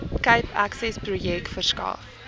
cape accessprojek verskaf